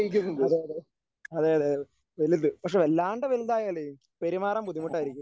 അതേയതേ അതേയതേ വലുത് പക്ഷേ വല്ലാണ്ട് വലുതായാലേ പെരുമാറാൻ ബുദ്ധിമുട്ടായിരിക്കും.